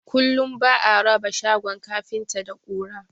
Kullum ba'a raba shagon kafinta da ƙura